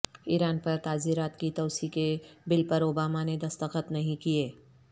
ایران پر تعزیرات کی توسیع کے بل پر اوباما نے دستخط نہیں کیے